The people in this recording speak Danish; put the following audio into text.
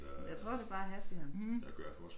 Jeg tror det bare er hastigheden